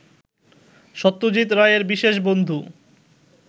সত্যজিৎ রায়ের বিশেষ বন্ধু